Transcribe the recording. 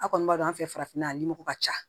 A kɔni b'a dɔn an fɛ farafinna yan a ni mɔgɔ ka ca